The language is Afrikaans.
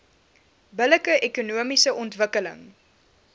billike ekonomiese ontwikkeling